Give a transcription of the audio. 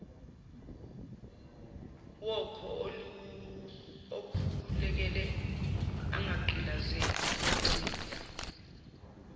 wakhoukhululeke ungagqilazeki gxila